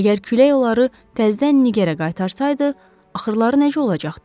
Əgər külək onları təzədən Nigarə qaytarsaydı, axırları necə olacaqdı?